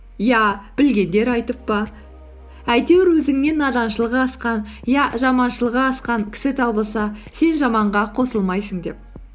я білгендер айтып па әйтеуір өзіңнен наданшылығы асқан я жаманшылығы асқан кісі табылса сен жаманға қосылмайсың деп